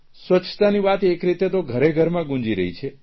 સ્વચ્છતાની વાત એક રીતે તો ઘરેઘરમાં ગુંજી રહી છે